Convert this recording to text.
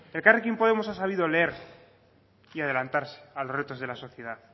elkarrekin podemos ha sabido leer y adelantarse a los retos de la sociedad